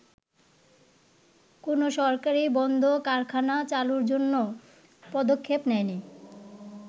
“কোন সরকারই বন্ধ কারখানা চালুর জন্য পদক্ষেপ নেয়নি।